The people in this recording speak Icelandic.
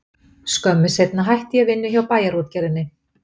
Skömmu seinna hætti ég vinnu hjá Bæjarútgerðinni.